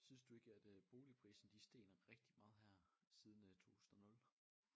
Synes du ikke at øh boligprisen de er steget rigtig meget her siden øh 2000 og 0?